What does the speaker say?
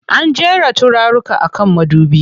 An jera turaruka a kan madubi.